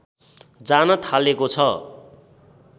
जान थालेको छ